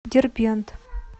дербент